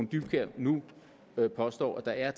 dybkjær nu påstår der er